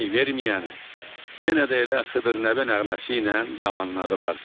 Pay verməyəni yenə də elə Xıdır Nəbi nəğməsi ilə yamanladılar.